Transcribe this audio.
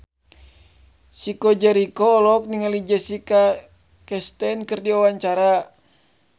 Chico Jericho olohok ningali Jessica Chastain keur diwawancara